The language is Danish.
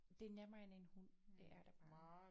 Det er nemmere end en hund det er det bare